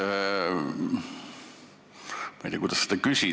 Eesti 50 kaitseväelast on nüüd sellessamas paigas.